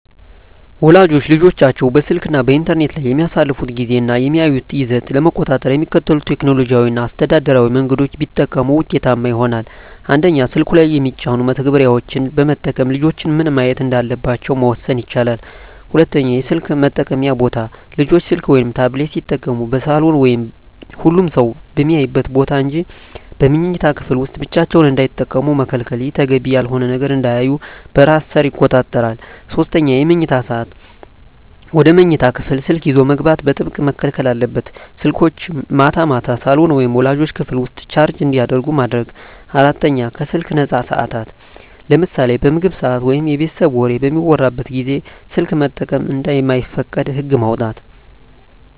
ወላጆች ልጆቻቸው በስልክ እና በኢንተርኔት ላይ የሚያሳልፉትን ጊዜ እና የሚያዩትን ይዘት ለመቆጣጠር የሚከተሉትን ቴክኖሎጂያዊ እና አስተዳደራዊ መንገዶች ቢጠቀሙ ውጤታማ ይሆናል፦ 1)ስልኩ ላይ የሚጫኑ መተግበሪያዎችን በመጠቀም ልጆች ምን ማየት እንዳለባቸው መወሰን ይቻላል። 2)የስልክ መጠቀምያ ቦታ: ልጆች ስልክ ወይም ታብሌት ሲጠቀሙ በሳሎን ወይም ሁሉም ሰው በሚያይበት ቦታ እንጂ በመኝታ ክፍል ውስጥ ብቻቸውን እንዳይጠቀሙ መከልከል። ይህ ተገቢ ያልሆነ ነገር እንዳያዩ በራስ ሰር ይቆጣጠራል። 3)የመኝታ ሰዓት: ወደ መኝታ ክፍል ስልክ ይዞ መግባት በጥብቅ መከልከል አለበት። ስልኮች ማታ ማታ ሳሎን ወይም ወላጆች ክፍል ውስጥ ቻርጅ እንዲደረጉ ማድረግ። 4)ከስልክ ነፃ ሰዓታት: ለምሳሌ በምግብ ሰዓት ወይም የቤተሰብ ወሬ በሚወራበት ጊዜ ስልክ መጠቀም እንደማይፈቀድ ህግ ማውጣት።